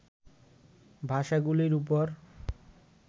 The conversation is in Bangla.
ভাষাগুলির উপর